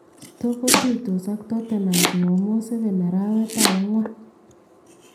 Stoke kotuitos ak Tottenham chumamos 7 arawet ab agwan